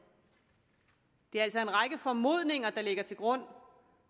det er altså en række formodninger der ligger til grund